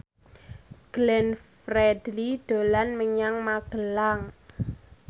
Glenn Fredly dolan menyang Magelang